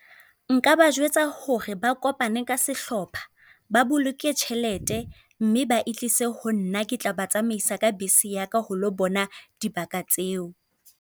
Nka ba jwetsa hore ba kopane ka sehlopha, ba boloke tjhelete mme ba e tlise ho nna. Ke tla ba tsamaisa ka bese ya ka ho lo bona dibaka tseo.